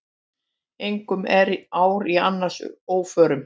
Engum er ár í annars óförum.